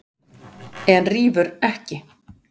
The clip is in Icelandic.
En rífur ekki.